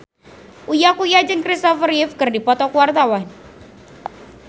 Uya Kuya jeung Christopher Reeve keur dipoto ku wartawan